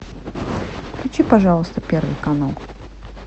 включи пожалуйста первый канал